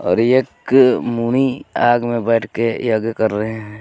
और एक मुनि आग में बैठ के यज्ञ कर रहे हैं.